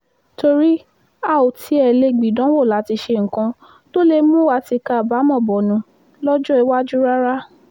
torí a ò tiẹ̀ lè gbìdánwò láti ṣe nǹkan tó lè mú wa tìka àbámọ̀ bọnu lọ́jọ́ iwájú rárá